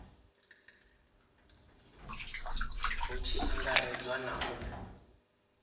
hu tshi angaredzwa na u